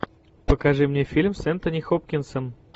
покажи мне фильм с энтони хопкинсом